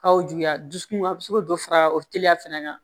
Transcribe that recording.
K'aw juguya dusukun a bɛ se k'o dɔ fara o teliya fɛnɛ kan